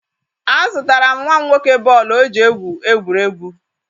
Azụtara m nwa m nwoke bọọlụ o ji egwu egwuregwu.